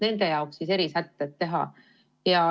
Nende jaoks teeme erisätted.